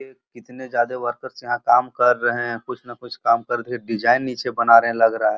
इतने जादे वर्कर्स यहाँ काम कर रहे हैं। कुछ न कुछ काम कर के डिजाइन नीचे बना रहे हैं लग रहा है।